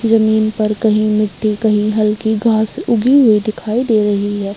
ज़मीन पर कहीं मिट्टी कहीं हल्की घास उगी हुई दिखाई दे रही हैं।